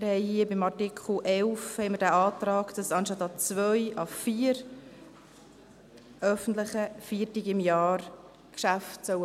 Beim Artikel 11 haben wir den Antrag, dass die Geschäfte anstatt an zwei an vier öffentlichen Feiertagen im Jahr offen haben sollen.